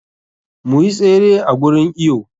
Mu yi tsere a gurin iwo.